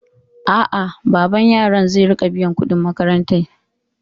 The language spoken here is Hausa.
A'a, baban yaran zai riƙa biyan kuɗin makarantar.